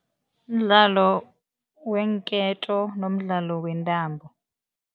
Mdlalo weenketo nomdlalo wentambo.